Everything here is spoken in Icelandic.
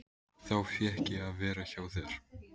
Þá fékk ég að vera hjá þér.